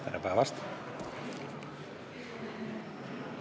Tere päevast!